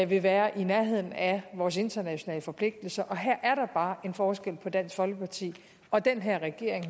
vil være i nærheden af vores internationale forpligtelser og her er der bare en forskel på dansk folkeparti og den her regering